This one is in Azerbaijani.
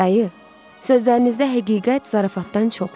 Dayı, sözlərinizdə həqiqət zarafatdan çoxdur.